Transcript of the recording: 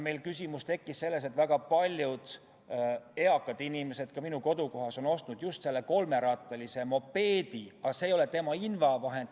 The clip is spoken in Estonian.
Meil tekkis küsimus sellest, et väga paljud eakad inimesed, ka minu kodukohas, on ostnud just selle kolmerattalise mopeedi, aga see ei ole nende invavahend.